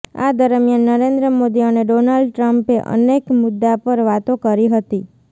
આ દરમિયાન નરેન્દ્ર મોદી અને ડોનાલ્ડ ટ્રમ્પે અનેક મુદ્દા પર વાતો કરી હતી